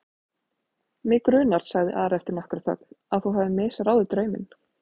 Mig grunar, sagði Ari eftir nokkra þögn,-að þú hafir misráðið drauminn.